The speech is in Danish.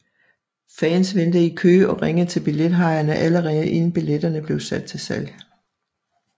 Fans ventede i kø og ringede til billethajerne allerede inden billetterne blev sat til salg